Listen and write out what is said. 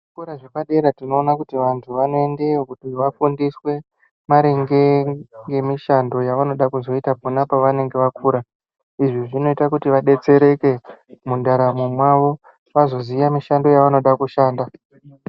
Zvikora zvepadera tinoone kuti vantu vanoendayo kuti vafundiswe maringe nemishando yevanode kuzoita pona pevanenge vakura. Izvi zvinoita kuti vadetsereke mundaramo mwavo vazoziya mishando yavanoda kushanda.